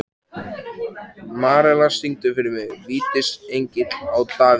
Marella, syngdu fyrir mig „Vítisengill á Davidson“.